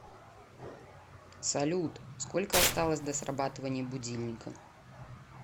салют сколько осталось до срабатывания будильника